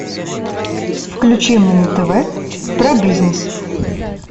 включи мне на тв про бизнес